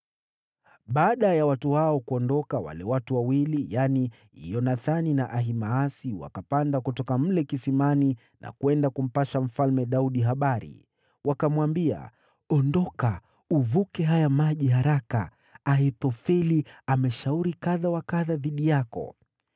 Baada ya watu hao kuondoka, wale watu wawili yaani Yonathani na Ahimaasi wakapanda kutoka mle kisimani na kwenda kumpasha Mfalme Daudi habari. Wakamwambia, “Ondoka, uvuke haya maji haraka. Ahithofeli ameshauri kadha wa kadha dhidi yako.”